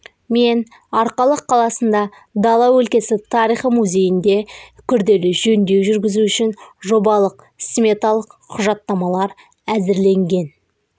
мен арқалық қаласында дала өлкесі тарихы музейіне күрделі жөндеу жүргізу үшін жобалық сметалық құжаттамалар әзірленген